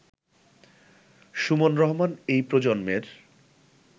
সুমন রহমান এই প্রজন্মের